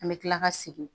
An bɛ tila ka segin